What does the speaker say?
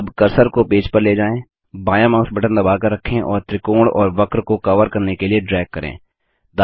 अब कर्सर को पेज पर ले जाएँ बायाँ माउस बटन दबाकर रखें और त्रिकोण और वक्र को कवर करने के लिए ड्रैग करें